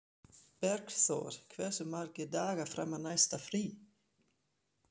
Bergþór, hversu margir dagar fram að næsta fríi?